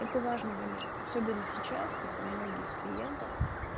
это важный момент особенно сейчас когда многие из клиентов